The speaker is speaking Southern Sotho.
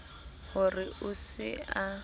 ho re o se a